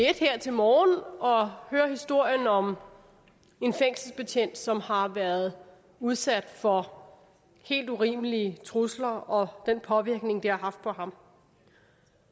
her til morgen og høre historien om en fængselsbetjent som har været udsat for helt urimelige trusler og den påvirkning det har haft på ham